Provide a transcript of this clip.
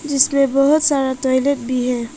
जिसमें बहुत सारा टॉयलेट भी है।